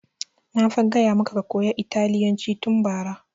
Na fa gaya maka ka koya italyanci tun bara!